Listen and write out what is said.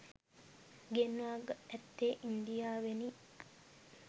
ගෙන්වා ඇත්තේ ඉන්දියාවෙනි.